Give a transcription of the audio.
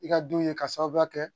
I ka don ye k'a sababu kɛ